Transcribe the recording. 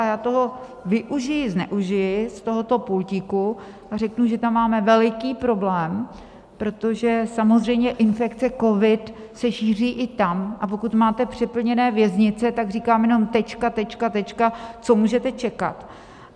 A já toho využiji, zneužiji z tohoto pultíku a řeknu, že tam máme veliký problém, protože samozřejmě infekce covid se šíří i tam, a pokud máte přeplněné věznice, tak říkám jenom tečka, tečka, tečka, co můžete čekat?